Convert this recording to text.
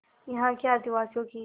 यहाँ के आदिवासियों की